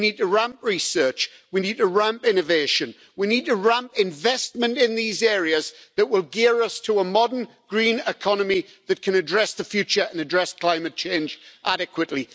We need to ramp up research, we need to ramp up innovation, and we need to ramp up investment in the areas which will gear us to a modern green economy that can address the future and address climate change adequately.